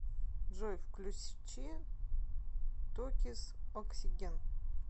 джой включи токиз оксиген